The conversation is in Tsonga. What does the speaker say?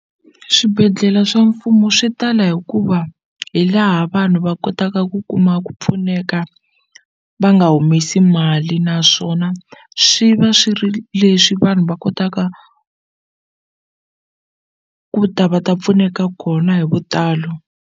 Swibedhlele swa mfumo swi tala hikuva hi laha vanhu va kotaka ku kuma ku pfuneka va nga humesi mali naswona swi va swi ri leswi vanhu va kotaka ku ta va ta pfuneka kona hi vutalo.